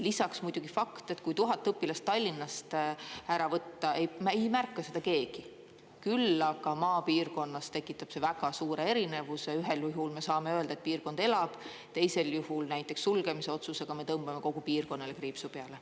Lisaks muidugi fakt, et kui 1000 õpilast Tallinnast ära võtta, ei märka seda keegi, küll aga maapiirkonnas tekitab see väga suure erinevuse, ühel juhul me saame öelda, et piirkond elab, teisel juhul, näiteks sulgemisotsusega me tõmbame kogu piirkonnale kriipsu peale.